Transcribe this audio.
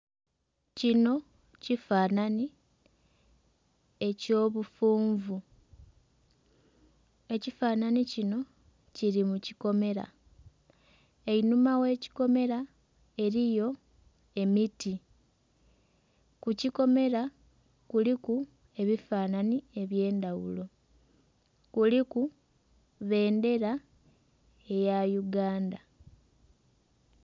Kino kifanhanhi eky'obufunvu ekifanhanhi kino kiri mukikomera einhuma ogh'ekikomera eriyo emiti kukikomera kuliku ebifanhanhi ebyendhaghulo kuliku bbendhera eya uganda.